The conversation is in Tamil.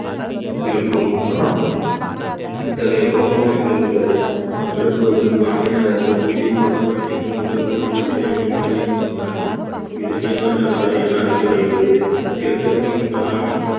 இருக்கும் இத்தகைய குழப்பமான நிகழ்வுகளை விளக்குவதற்கு வானிலையாளர்கள் புவியியல் கோட்பாட்டின் ஒரு மாற்றத்தினை முன்மொழிந்தனர் இது நீள்வட்ட மாதிரி என அழைக்கப்படுகிறது கிரக்கத்தின் தலைமை